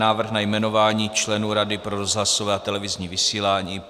Návrh na jmenování členů Rady pro rozhlasové a televizní vysílání